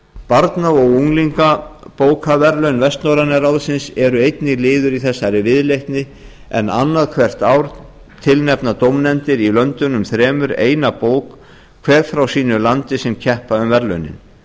barna og unglingabókaverðlaun vestnorræna ráðsins er einnig liður í þessari viðleitni en annað hvert ár tilnefna dómnefndir í löndunum þremur eina bók hver frá sínu landi sem keppa um verðlaunin